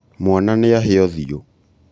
mwana nĩahĩa ũthiũ